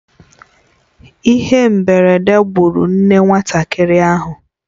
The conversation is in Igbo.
Ihe mberede gburu nne nwatakịrị ahụ.